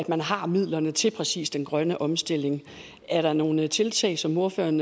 man har midlerne til lige præcis den grønne omstilling er der nogle tiltag som ordføreren